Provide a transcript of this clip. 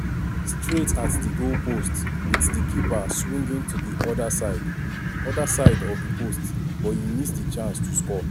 straight at di goalpost wit di keeper swinging to di oda side oda side of di post but e miss di chance to score.